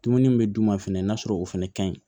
Dumuni min bɛ d'u ma fɛnɛ n'a sɔrɔ o fɛnɛ kaɲi